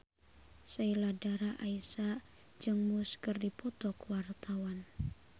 Sheila Dara Aisha jeung Muse keur dipoto ku wartawan